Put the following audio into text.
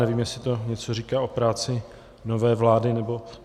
Nevím, jestli to něco říká o práci nové vlády, nebo...